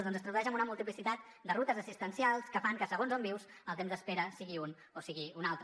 doncs es tradueix en una multiplicitat de rutes assistencials que fan que segons on vius el temps d’espera sigui un o sigui un altre